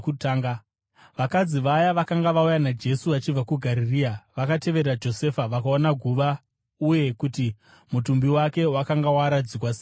Vakadzi vaya vakanga vauya naJesu vachibva kuGarirea vakatevera Josefa vakaona guva uye kuti mutumbi wake wakanga waradzikwa sei mariri.